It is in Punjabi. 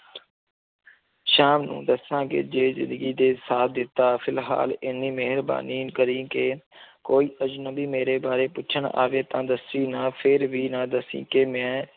ਸ਼ਾਮ ਨੂੰ ਦੱਸਾਂਗੇ ਜੇ ਜ਼ਿੰਦਗੀ ਦੇ ਸਾਥ ਦਿੱਤਾ, ਫਿਲਹਾਲ ਇੰਨੀ ਮਿਹਰਬਾਨੀ ਕਰੀਂ ਕਿ ਕੋਈ ਅਜ਼ਨਬੀ ਮੇਰੇ ਬਾਰੇ ਪੁੱਛਣ ਆਵੇ ਤਾਂ ਦੱਸੀਂ ਨਾ, ਫਿਰ ਵੀ ਨਾ ਦੱਸੀਂ ਕਿ ਮੈਂ